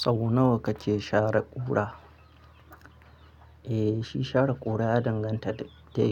Sau nawa kake share ƙura? Eh, shi share ƙura ya danganta da